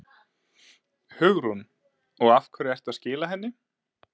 Hugrún: Og af hverju ertu að skila henni?